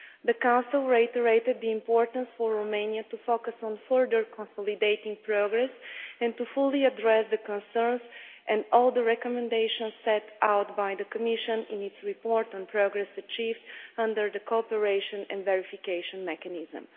The Council reiterated the importance for Romania to focus on further consolidating progress and to fully address the concerns and all the recommendations set out by the Commission in its report on progress achieved under the cooperation and verification mechanism.